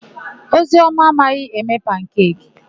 Ozioma amaghị eme pankeki.